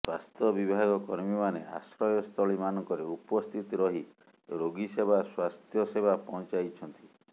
ସ୍ୱାସ୍ଥ୍ୟ ବିଭାଗ କର୍ମୀମାନେ ଆଶ୍ରୟ ସ୍ଥଳୀ ମାନଙ୍କରେ ଉପସ୍ଥିତ ରହି ରୋଗୀ ସେବା ସ୍ୱାସ୍ଥ୍ୟ ସେବା ପହଞ୍ଚାଇଛନ୍ତି